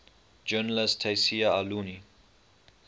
journalist tayseer allouni